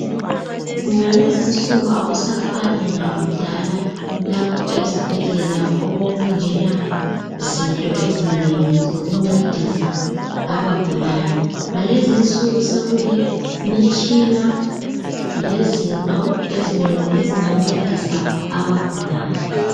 Ngalezi nsuku akusafani lakudala lapho ezibhedlela okwakungela zinto ezinengi zokuncedisa abagulayo ngalezinsuku sekule mitshina lezinto ezinengi ezingancedisa abagulayo.